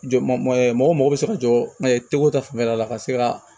Jɔ mɔgɔ ma mɔgɔ bɛ se ka jɔgo ta fan wɛrɛ la ka se ka